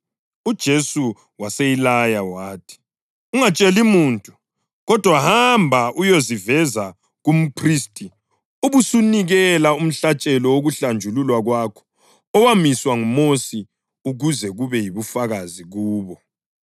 UJesu waseyilaya wathi, “Ungatsheli muntu kodwa hamba uyeziveza kumphristi ubusunikela umhlatshelo wokuhlanjululwa kwakho owamiswa nguMosi ukuze kube yibufakazi kubo.”